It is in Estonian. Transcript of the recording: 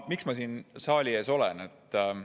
Miks ma siin saali ees olen?